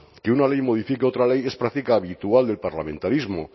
que una ley modifique otra ley es práctica habitual del parlamentarismo